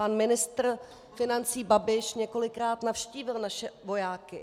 Pan ministr financí Babiš několikrát navštívil naše vojáky.